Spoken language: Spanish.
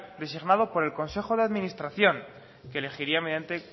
designado por el consejo de administración que elegiría mediante